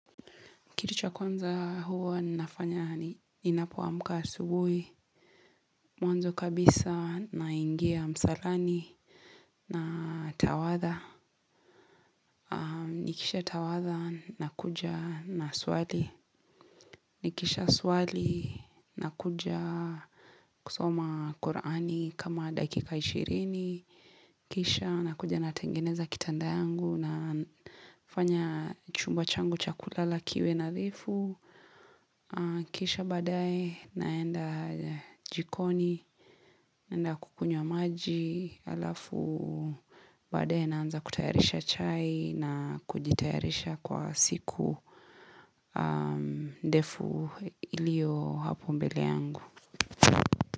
Kitu cha kwanza huwa ninafanya ninapoamka asubuhi. Mwanzo kabisa naingia msalani na tawatha. Nikisha tawatha nakuja na swali. Nikisha swali nakuja kusoma Qur'ani kama dakika ishirini. Kisha nakuja natengeneza kitanda yangu nafanya chumba changu cha kulala kiwe nadhifu. Kisha badae naenda jikoni naenda kukunywa maji Alafu badae naanza kutayarisha chai na kujitayarisha kwa siku ndefu ilio hapo mbele yangu.